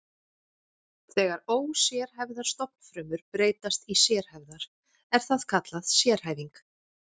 Þegar ósérhæfðar stofnfrumur breytast í sérhæfðar er það kallað sérhæfing.